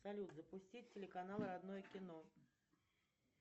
салют запусти телеканал родное кино